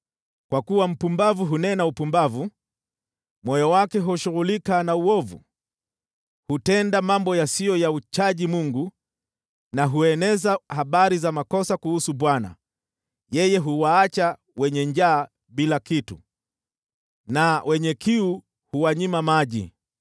Kwa kuwa mpumbavu hunena upumbavu, moyo wake hushughulika na uovu: Hutenda mambo yasiyo ya kumcha Mungu, na hueneza habari za makosa kuhusu Bwana ; yeye huwaacha wenye njaa bila kitu, na wenye kiu huwanyima maji.